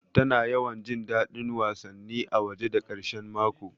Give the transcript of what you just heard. Tana yawan jin daɗin wasanni a waje da ƙarshe mako